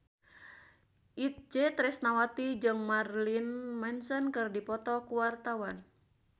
Itje Tresnawati jeung Marilyn Manson keur dipoto ku wartawan